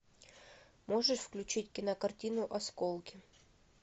можешь включить кинокартину осколки